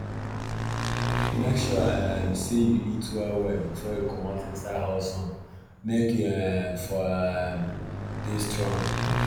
make sure um say you eat well well befor you comot inside hot sun make u um for um dey strong